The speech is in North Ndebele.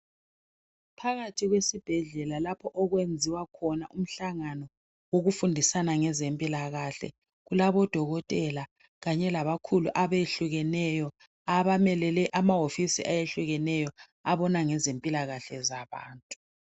Phakathi kwesibhedlela lapho okwenziwa khona umhlangano wokufundisana ngezempilakahle lapho odokotela kanye labakhulu abehlukeneyo abamele amahofisi ahlukeneyo abona ngezempilakahle zabantu